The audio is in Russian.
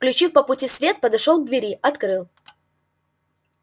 включив по пути свет подошёл к двери открыл